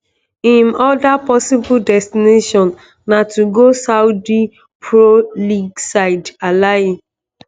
im oda possible destination na to go saudi pro league side alahli